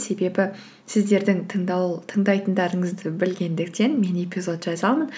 себебі сіздердің тыңдайтыңдарыңызды білгендіктен мен эпизод жазамын